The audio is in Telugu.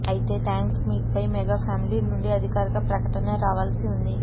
అయితే థ్యాక్స్ మీట్ పై మెగా ఫ్యామిలీ నుండి అధికారిక ప్రకటన రావాల్సి ఉంది